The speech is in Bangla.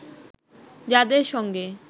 যাদের সঙ্গে